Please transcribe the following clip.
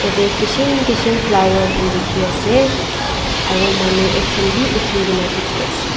yatae kishim kishim flower khan dikhiase aro manu ekjon bi uthikae na dikhi ase.